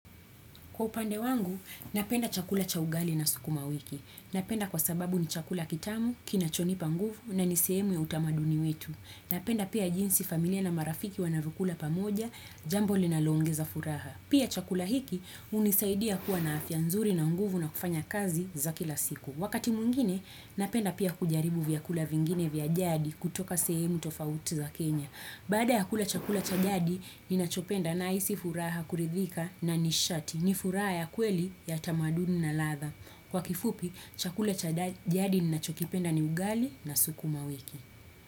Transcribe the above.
Kwa upande wangu, napenda chakula cha ugali na sukuma wiki. Napenda kwa sababu ni chakula kitamu, kinachonipa nguvu na ni sehemu ya utamaduni wetu. Napenda pia jinsi familia na marafiki wanavokula pamoja, jambo linaloongeza furaha. Pia chakula hiki hunisaidia kuwa na afianzuri na nguvu na kufanya kazi za kila siku. Wakati mwingine, napenda pia kujaribu vyakula vingine vyajadi kutoka sehemu tofauti za Kenya. Baada ya kula chakula chajadi, ni nachopenda na isi furaha kuridhika na nishati. Ni furaha ya kweli ya tamaduni na latha. Kwa kifupi, chakula chajadi ni nachopenda ni ugali na sukuma wiki.